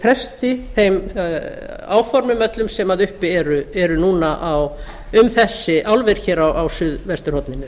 fresti þeim áformum öllum sem uppi eru núna um þessi álver á suðvesturhorninu